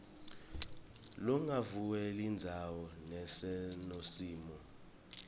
lugwadvule yindzawo lenesomiso